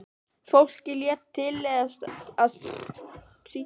Fólkið lét tilleiðast að sýna þig.